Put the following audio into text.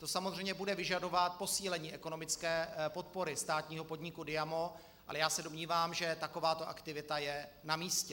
To samozřejmě bude vyžadovat posílení ekonomické podpory státního podniku Diamo, ale já se domnívám, že takováto aktivita je na místě.